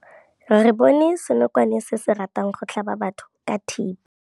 Re bone senokwane se se ratang go tlhaba batho ka thipa.